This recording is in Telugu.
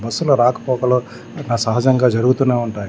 బస్ లా రాకపోకలు సహజంగా జరుగుతూనే ఉంటాయి.